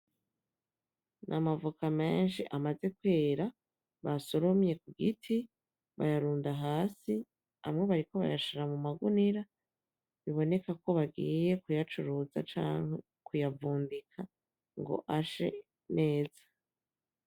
Ni amavoka menshi amaze kwera basoromye kugiti bayarunda hasi amwe bariko bayashira mu magunira bibonekako bagiye kuyacuruza canke kuyavumbika ngo ashe neza.